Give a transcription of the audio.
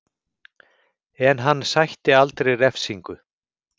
En hann sætti aldrei refsingu